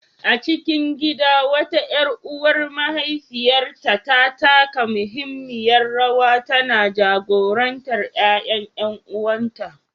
A cikin gida, wata ƴar uwar mahaifiyar ta taka muhimmiyar rawa, tana jagorantar ƴaƴan ƴan’uwanta.